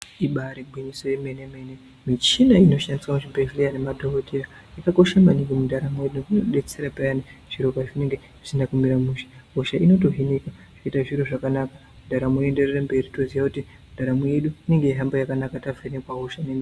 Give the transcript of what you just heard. Ibaari gwinyiso yemene-mene, michina inoshandiswa muzvibhedhlera nemadhokoteya yakakosha maningi mundaramo yedu. Inodetsera peyani zviro pazvinenge zvisina kumira mushe. Hosha inotohinika zvoita zviro zvakanaka, ndaramo yoenderere mberi. Toziya kuti ndaramo yedu inenge yeihamba yakanaka tavhenekwa hosha nemi....